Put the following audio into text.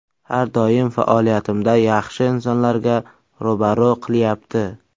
Har doim faoliyatimda yaxshi insonlarga ro‘baro‘ qilyapti.